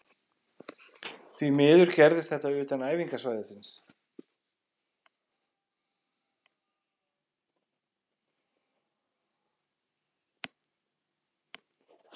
Því miður gerðist þetta utan æfingasvæðisins.